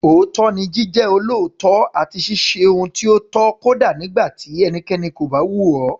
Òótọ́ ni Jíjẹ́ olóòótọ́ àti ṣíṣe ohun tí ó tọ́ kódà nígbà tí ẹnikẹ́ni kò bá wò ó.